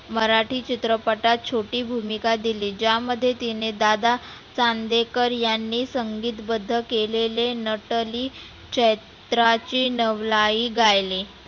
मराठी चित्रपटात छोटी भुमिका दिली. ज्यामध्ये तिने दादा चांदेकर यांनी संगितबद्ध केलेले नटली चैत्राचे नवलाई गायले.